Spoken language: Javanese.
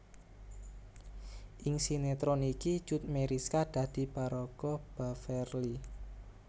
Ing sinetron iki Cut Meyriska dadi paraga Beverly